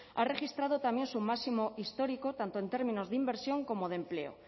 ha registrado también su máximo histórico tanto en términos de inversión como de empleo